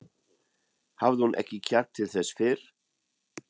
Hafði hún ekki kjark til þess fyrr?